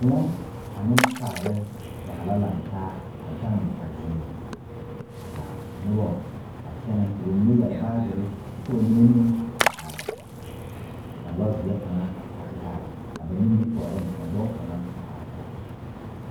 Koɔ ane sagre zaa la lantaa a gaŋ a zie ŋa ka noba a kyɛnɛ ka ba mine yɛre baagere kyɛ ka ba mine meŋ a are ka lɔɔzeɛ kaŋa a te are a ba nimitɔɔreŋ ka dɔɔ kaŋa a are a kɔge.